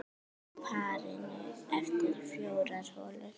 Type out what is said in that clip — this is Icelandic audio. Á parinu eftir fjórar holur.